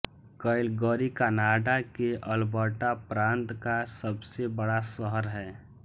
Calgary Canada के Alberta प्रांत का सबसे बड़ा शहर है